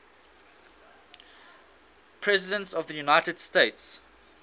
presidents of the united states